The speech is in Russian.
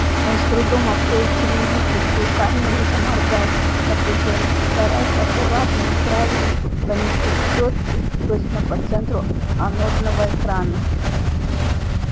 он с трудом открыл цилиндрическую камеру и заморгал от напряжения стараясь аккуратно и правильно поместить чётки точно по центру анодного экрана